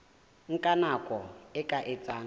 nka nako e ka etsang